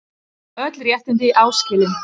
Öll réttindi áskilin.